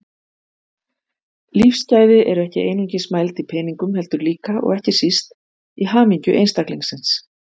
Lífsgæði eru ekki einungis mæld í peningum heldur líka, og ekki síst, í hamingju einstaklingsins.